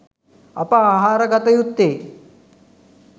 අප ආහාර ගත යුත්තේ